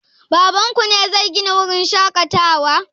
Baban ku ne zai Gina wurin shaƙatawa?